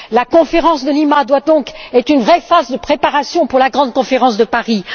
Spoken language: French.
La conférence de Lima doit donc être une vraie phase de préparation pour la grande conférence de Paris.